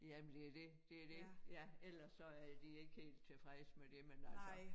Jamen det er det det det ja ellers så er de ikke helt tilfredse med det men altså